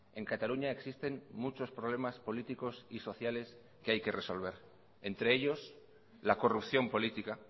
en cataluña existen muchos problemas políticos y sociales que hay que resolver entre ellos la corrupción política